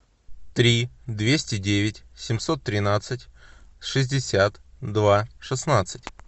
три двести девять семьсот тринадцать шестьдесят два шестнадцать